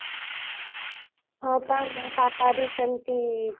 ହଁ ବା ମୋ ପାପା ବି ସେମତି